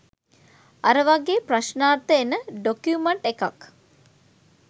අර වාගේ ප්‍රශ්නාර්ථ එන ඩොකියුමන්ට් එකක්